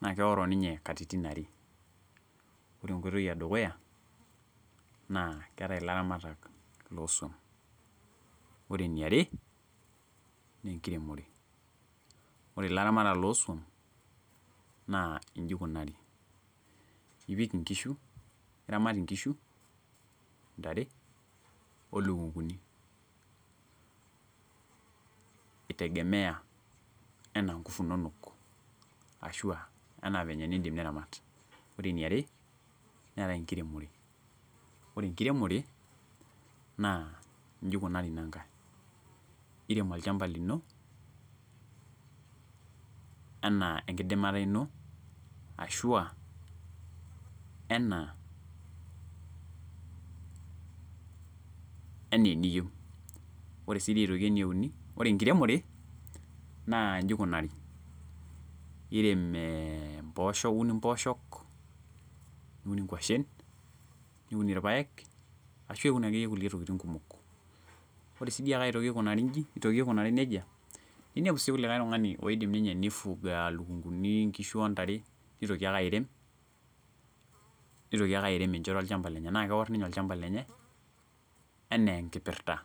naa keoro ninye katitin are. Ore enkoitoi edukuya naa keetae ilaramatak looswam . Ore eniare naa ore ilaramatak looswam naa inji ikunari, iramat inkishu , ntare , olukunguni , itegemea anaa nkufu inonok ashuaa anaa venye nindim niramat . Ore eniare netae enkiremore , ore enkiremore naa inji ikunari ina nkae , irem olchamba lino enaa enkidimata ino ashua enaa , enaa eniyieu . Ore sidii aetoki ene uni , ore enkiremore naa inji ikunari , irem ee imposho, iun imposho , niun inkwashen, niun irpaek ashu iun akeyie inkulie tokitin kumok . Ore sidiiake aikunari inji nitoki aikunari nejia, ninepu likae tungani loyieu ninye nifuga lukunguni, nkishu ontare , nitoki ake airem, nitoki ake airem enchoto olchamba lenye naa keor ninye olchamba lenye enaa enkipirta.